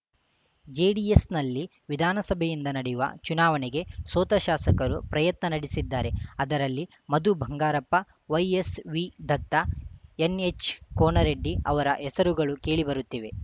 ಜೆಡಿಎಸ್‌ನಲ್ಲಿ ವಿಧಾನಸಭೆಯಿಂದ ನಡೆಯುವ ಚುನಾವಣೆಗೆ ಸೋತ ಶಾಸಕರು ಪ್ರಯತ್ನ ನಡೆಸಿದ್ದಾರೆ ಅವರಲ್ಲಿ ಮಧು ಬಂಗಾರಪ್ಪ ವೈಎಸ್‌ವಿದತ್ತ ಎನ್‌ಎಚ್‌ಕೋನರೆಡ್ಡಿ ಅವರ ಹೆಸರುಗಳು ಕೇಳಿಬರುತ್ತಿವೆ